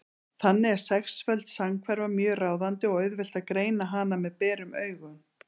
Þannig er sexföld samhverfa mjög ráðandi og auðvelt að greina hana með berum augum.